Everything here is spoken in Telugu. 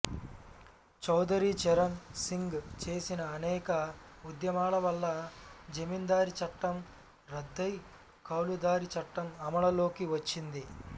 చౌదరి చరణ్ సింగ్ చేసిన అనేక ఉద్యమాల వల్ల జమీందారీ చట్టం రద్దై కౌలుదారీ చట్టం అమలులోకి వచ్చింది